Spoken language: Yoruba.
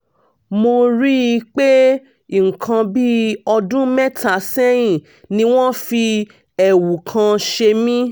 mo rí i pé nǹkan bí ọdún mẹ́ta sẹ́yìn ni wọ́n fi ẹ̀wù kan ṣe mí